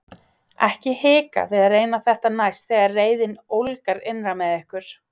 Ekki hika við að reyna þetta næst þegar reiðin ólgar innra með ykkur!